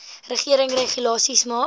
regering regulasies maak